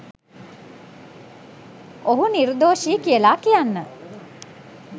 ඔහු නිර්දෝෂි කියලා කියන්න